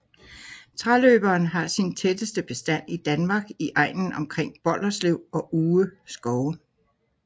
Træløberen har sin tætteste bestand i Danmark i egnen omkring Bolderslev og Uge skove